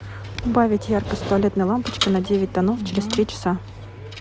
убавить яркость туалетной лампочки на девять тонов через три часа